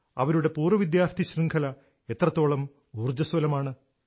അവരുടെ പൂർവ്വ വിദ്യാർത്ഥി ശൃംഖല എത്രത്തോളം ഊർജ്ജ്വസ്വലമാണ്